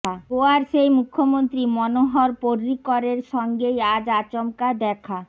গোয়ার সেই মুখ্যমন্ত্রী মনোহর পর্রীকরের সঙ্গেই আজ আচমকা দেখা